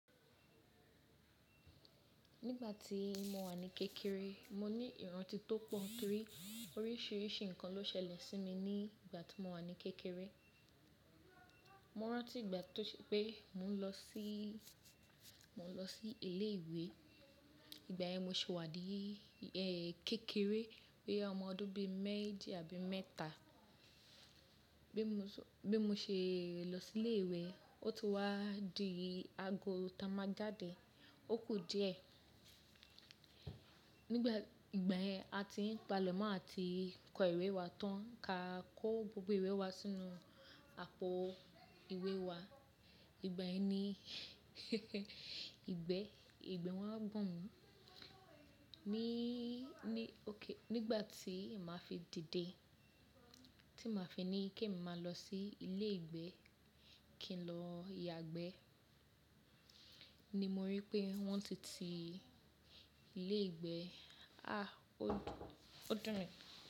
Nígbà tí mo wà ní kékeré, mo ní ìrántí tó pọ̀ torí oríṣiríṣi nǹkan ló ṣẹlẹ̀ sí mi ní ìgbà tí mo wà ní kékeré. Mo rántí ìgbà tó se pé mò ń lọ sí, mò ń lọ sí ilé ìwé. Ìgbà yẹn mo sì wà ní, kékeré boya ọmọ ọdún bí mẹ́jì àbí mẹ́ta. Bí mo ṣé, bí mo ṣe lọ sí ilé ìwé, ó ti wá di ago tá máa jáde, ó kù díẹ̀. Nígbà, ìgbà yẹn a ti ń pa lemọ̀ àti kó ìwé wa tán ká kó gbogbo ìwé wa sínú àpò ìwé wa. Ìgbà yen, ìgbẹ́, ìgbẹ́ wa n gbọ̀n mi. Ni, ní òkè, nígbà tí màá fi dìde, tí màá fi ní kí èmi máa lọ sí ilé ìgbẹ́ kí n lọ yagbẹ́ ni mo rí pé wọ́n ti ti ilé ìgbẹ́. A! Ó dùn, ó dùn mí.